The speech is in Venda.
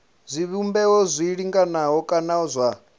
zwivhumbeo zwi linganaho kana zwa